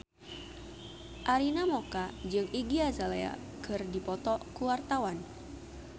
Arina Mocca jeung Iggy Azalea keur dipoto ku wartawan